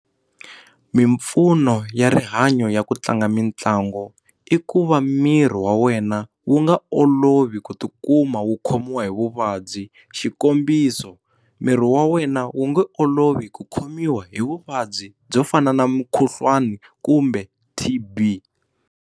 Mimpfuno ya rihanyo ya ku tlanga mitlangu i ku va miri wa wena wu nga olovi ku tikuma wu khomiwa hi vuvabyi xikombiso miri wa wena wu nge olovi ku khomiwa hi vuvabyi byo fana na mukhuhlwani kumbe T_B.